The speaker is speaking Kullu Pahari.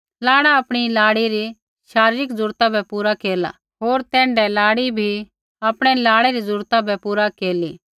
लाड़ा आपणी लाड़ी री शारीरिक ज़रूरत बै पूरा केरला होर तैण्ढै लाड़ी भी आपणै लाड़ै री ज़रूरत बै पूरा केरली